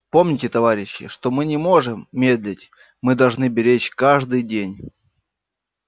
помните товарищи что мы не можем медлить мы должны беречь каждый день